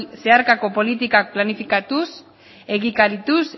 zeharkako politikak planifikatuz egikarituz